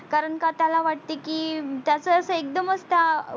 कारण का त्याला वाटते की त्याच अस एकदमच का